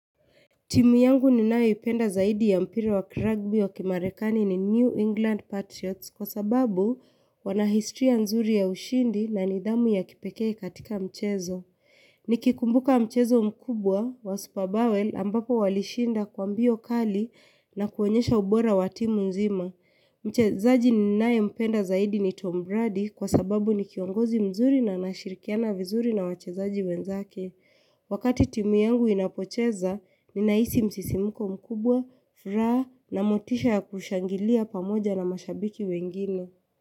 Timu yangu ninayoipenda zaidi ya mpira wa kiragbi wa kimarekani ni New England Patriots kwa sababu wana historia nzuri ya ushindi na nidhamu ya kipekee katika mchezo. Nikikumbuka mchezo mkubwa wa superbowel ambapo walishinda kwa mbio kali na kuonyesha ubora wa timu nzima. Mchezaji ninayempenda zaidi ni Tom Brady kwa sababu ni kiongozi mzuri na anashirikiana vizuri na wachezaji wenzake. Wakati timu yangu inapocheza, ninahisi msisimuko mkubwa, furaha na motisha ya kushangilia pamoja na mashabiki wengine.